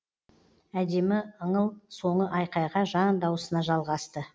әдемі ыңыл соңы айқайға жан даусына жалғасты